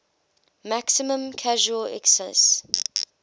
maximum casual excise